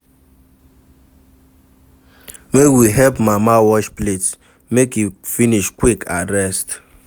Make we help mama wash plates, make e finish quick and rest.